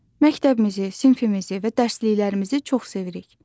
Məktəbimizi, sinfimizi və dərsliklərimizi çox sevirik.